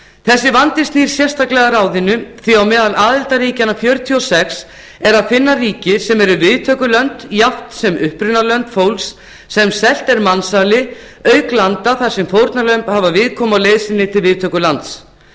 þessi vandi snýr sérstaklega að ráðinu því á meðal aðildarríkjanna fjörutíu og sex er að finna ríki sem eru viðtökulönd jafnt sem upprunalönd fólks sem selt er mansali auk ríkja þar sem fórnarlömb hafa viðkomu á leið sinni til viðtökulands